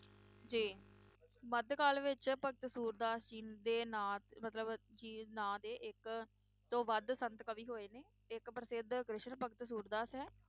ਜੀ ਮਧ ਕਾਲ ਵਿਚ ਭਗਤ ਸੂਰਦਾਸ ਜੀ ਦੇ ਨਾਂ ਮਤਲਬ ਜੀ ਨਾਂ ਦੇ ਇਕ ਤੋਂ ਵੱਧ ਸੰਤ ਕਵੀ ਹੋਏ ਨੇ ਇਕ ਪ੍ਰਸਿੱਧ ਕ੍ਰਿਸ਼ਨ ਭਗਤ ਸੂਰਦਾਸ ਹੈ